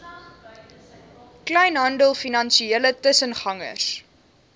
kleinhandel finansiële tussengangers